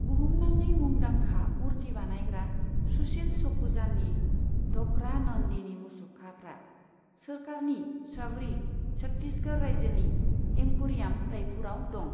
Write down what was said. बुहुमनाङै मुंदांखा मूर्ति बानायग्रा, सुशील सखुजानि ढ'क्रा नन्दीनि मुसुखाफ्रा सोरखारनि शबरी छत्तीसगढ़ रायजोनि एम्प'रियाम, रायपुरआव दं।